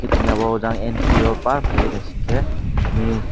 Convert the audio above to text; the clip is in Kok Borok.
eiago da empty paa ke naising ke.